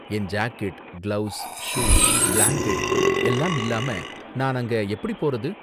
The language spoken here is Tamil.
என் ஜாக்கெட், கிளவுஸ், ஷூ, பிளாங்கெட் எல்லாம் இல்லாம நான் அங்க எப்படி போறது?